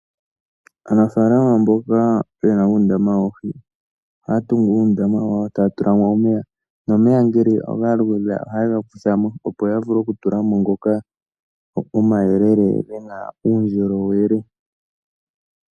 Aanafalama mboka yena uundama woohi ohaya tungu uundama wawo ee taya tulamo omeya nomeya ngele galuudha ohaye ga kuthamo opo yavule okutulamo ngoka omayelele gena uundjolowele.